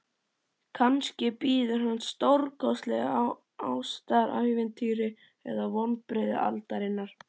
Kannski bíður hans stórkostlegt ástarævintýri eða vonbrigði aldarinnar.